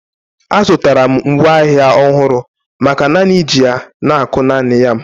Azụtara m ngwa agha ọhụrụ maka naanị iji ya na-akụ naanị yam